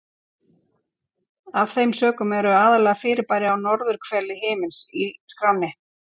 Af þeim sökum eru aðallega fyrirbæri á norðurhveli himins í skránni.